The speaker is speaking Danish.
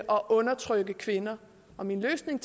og undertrykke kvinder og min løsning